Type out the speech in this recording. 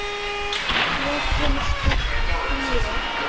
Hér kemur stutt hlé.